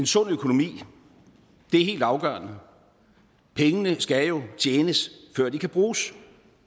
sund økonomi det er helt afgørende pengene skal jo tjenes før de kan bruges